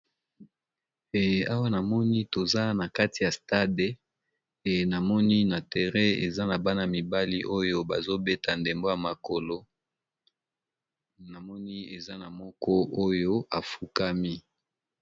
Awa namoni toza nakati ya stade, namoni toza na terrain nabana mibali oyo bazo beta ndembo yamakolo namoni eza na oyo moko afukami.